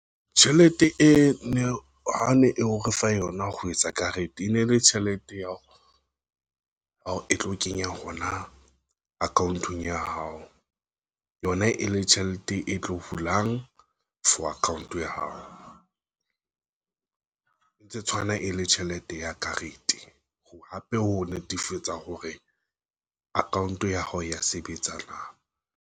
Tjhelete e ne ha ne eo re fa yona ho etsa karete. E ne le tjhelete ya hao e tlo kenya hona account-ong ya hao yona e le tjhelete e tlo hulang for account ya hao ntse tshwana e le tjhelete ya karete hape ho netefatsa hore account ya hao ya sebetsa.